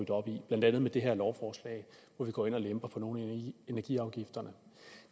op i blandt andet med det her lovforslag hvor vi går ind og lemper nogle af energiafgifterne